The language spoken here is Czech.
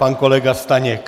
Pan kolega Staněk.